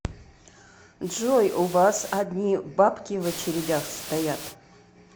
джой у вас одни бабки в очередях стоят